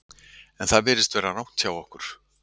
En það virðist vera rangt hjá okkur.